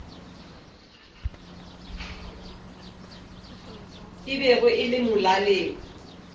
e bego e le molaleng